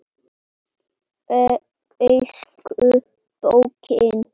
Elsku Böggi.